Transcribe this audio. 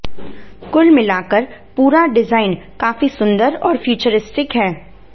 कुल मिलाकर पूरा डिजाइन काफी सुंदर और फ्यूचरिस्टिक है